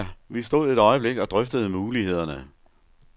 Vi stod et øjeblik og drøftede mulighederne.